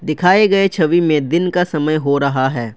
दिखाए गए छवि में दिन का समय हो रहा है।